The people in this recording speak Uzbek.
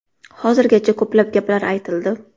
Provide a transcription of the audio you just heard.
Hozirgacha ko‘plab gaplar aytildi.